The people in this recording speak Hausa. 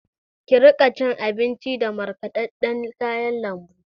Ki riƙa cin abinji da markaɗaɗɗan kayan lambu!